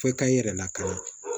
F'e ka i yɛrɛ lakana